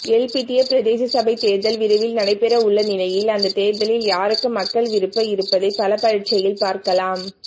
எல்பிட்டிய பிரதேச சபை தேர்தல் விரைவில் நடைபெறவுள்ள நிலையில் அந்த தேர்தலில் யாருக்கு மக்கள் விருப்பு இருப்பதை பலப்பரீட்சையில் பார்க்கலாம்